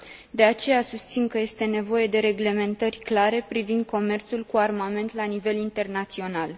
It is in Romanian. De aceea, susțin că este nevoie de reglementări clare privind comerțul cu armament la nivel internațional.